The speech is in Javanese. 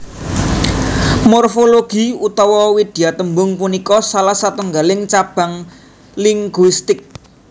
Morfologi utawa widyatembung punika salah satunggaling cabang linguistik